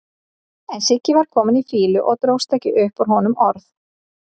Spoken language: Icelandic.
En Siggi var kominn í fýlu og dróst ekki upp úr honum orð.